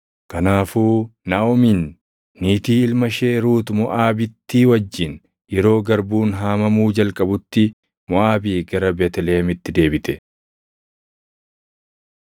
Kanaafuu Naaʼomiin, niitii ilma ishee Ruut Moʼaabittii wajjin yeroo garbuun haamamuu jalqabutti Moʼaabii gara Beetlihemitti deebite.